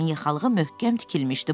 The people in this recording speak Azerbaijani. Köynəyinin yaxalığı möhkəm tikilmişdi.